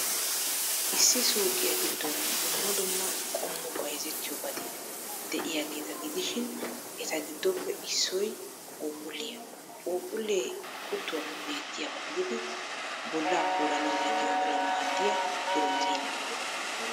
Issi suuqiyaa giddon dumma dumma qommo bayzziyobati de'iyaageeta gidishin, eta giddoppe issoy phuuphphulliyaa. Phuuphphullee kuttuwaappe beettiyaba gididi bollaa koolanawunne gimbbanawu maaddiya pirootine.